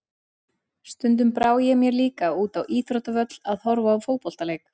Stundum brá ég mér líka út á íþróttavöll að horfa á fótboltaleik.